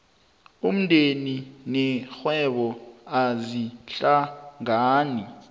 umndeni nerhwebo azihlangani